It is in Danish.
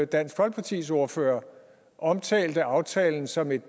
dansk folkepartis ordfører omtalte aftalen som et